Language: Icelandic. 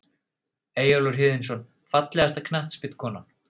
Eyjólfur Héðinsson Fallegasta knattspyrnukonan?